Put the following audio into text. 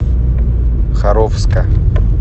харовска